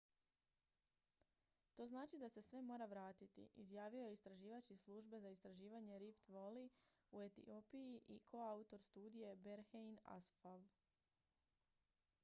to znači da se sve mora vratiti izjavio je istraživač iz službe za istraživanje rift valley u etiopiji i koautor studije berhane asfaw